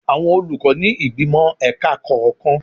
Àwọn olùkọ́ ni ìgbìmò ẹ̀ka kọ̀ọ̀kan.